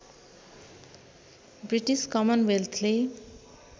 British कमन वेल्थले